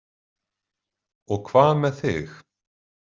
Og hvað með þig?